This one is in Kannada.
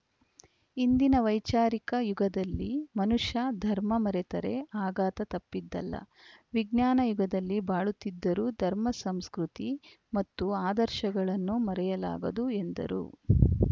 ಇಂದಿನ ವೈಚಾರಿಕ ಯುಗದಲ್ಲಿ ಮನುಷ್ಯ ಧರ್ಮ ಮರೆತರೆ ಆಘಾತ ತಪ್ಪಿದ್ದಲ್ಲ ವಿಜ್ಞಾನ ಯುಗದಲ್ಲಿ ಬಾಳುತ್ತಿದ್ದರೂ ಧರ್ಮ ಸಂಸ್ಕೃತಿ ಮತ್ತು ಆದರ್ಶಗಳನ್ನು ಮರೆಯಲಾಗದು ಎಂದರು